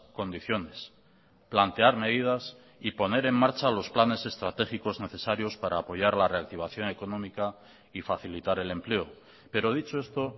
condiciones plantear medidas y poner en marcha los planes estratégicos necesarios para apoyar la reactivación económica y facilitar el empleo pero dicho esto